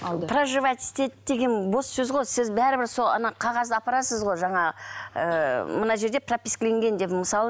проживать етеді деген бос сөз ғой сіз бәрібір сол қағазды апарасыз ғой жаңа ы мына жерде пропискіленген деп мысалы